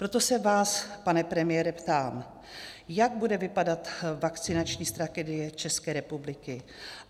Proto se vás, pane premiére, ptám, jak bude vypadat vakcinační strategie České republiky.